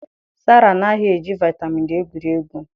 Sarah anaghị eji vitamin D egwuri egwu